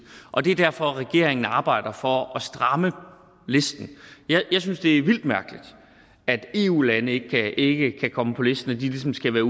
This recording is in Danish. og det er derfor regeringen arbejder for at stramme listen jeg synes det er vildt mærkeligt at eu lande ikke ikke kan komme på listen at de ligesom skal være